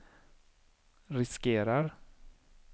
riskerar